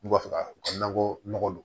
N'u b'a fɛ ka u ka nakɔ nɔgɔ don